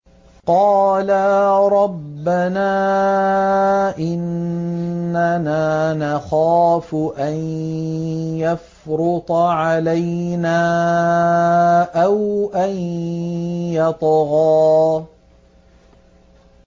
قَالَا رَبَّنَا إِنَّنَا نَخَافُ أَن يَفْرُطَ عَلَيْنَا أَوْ أَن يَطْغَىٰ